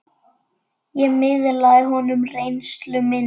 Ég miðlaði honum reynslu minni.